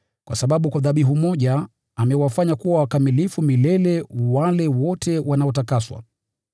kwa sababu kwa dhabihu moja amewafanya kuwa wakamilifu milele wale wote wanaotakaswa.